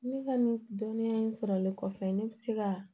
Ne ka nin dɔnniya in sɔrɔli kɔfɛ ne bɛ se ka